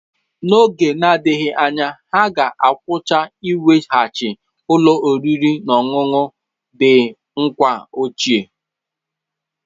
N'oge na-adịghị anya, ha ga-agwụcha iweghachi ụlọ oriri na ọṅụṅụ The Nkwa ochie.